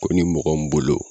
Ko ni mɔgɔ mun bolo